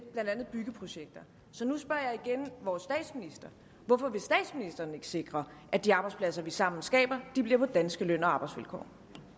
blandt andet byggeprojekter så nu spørger jeg igen vores statsminister hvorfor vil statsministeren ikke sikre at de arbejdspladser vi sammen skaber bliver på danske løn og arbejdsvilkår